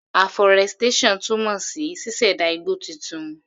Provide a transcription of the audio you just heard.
Aforestation túmọ̀ sí ṣíṣẹ̀dá igbó titun.